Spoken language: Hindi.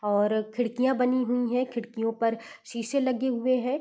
और खिड़कियाँ बनी हुई हैं खिड़कियों पर शीशें लगे हुए हैं।